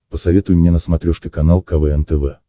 посоветуй мне на смотрешке канал квн тв